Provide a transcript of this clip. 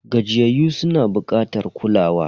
Gajiyayyu suna bukatar kulawa.